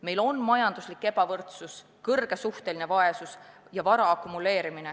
Meil on majanduslik ebavõrdsus, suur suhteline vaesus ja vara akumuleerumine.